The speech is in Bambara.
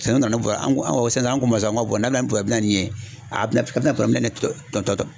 Sɛnɛ nana ni an ko an ko sisan an k'o ma sisan ko n'a bɛ na ni ye a bɛna a bɛna tɔ tɔ